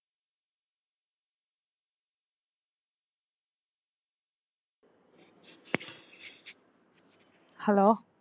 hello